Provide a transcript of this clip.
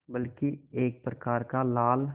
बल्कि एक प्रकार का लाल